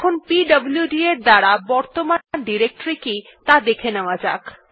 এখন PWD command এর দ্বারা বর্তমান ডিরেক্টরী কি ত়া দেখে নেওয়া যাক